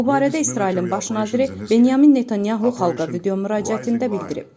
Bu barədə İsrailin baş naziri Benyamin Netanyahu xalqa video müraciətində bildirib.